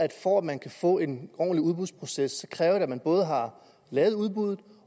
for at man kan få en ordentlig udbudsproces kræves man både har lavet udbuddet